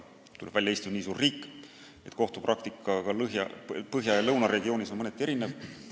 Tuleb välja, et Eesti on nii suur riik, et kohtupraktika põhja- ja lõunaregioonis on mõneti erinev.